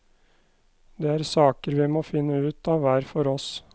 Det er saker vi må finne ut av hver for oss.